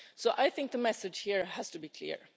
I think the message here has to be clear.